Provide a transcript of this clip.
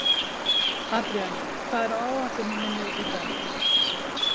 Adrían, hvað er á áætluninni minni í dag?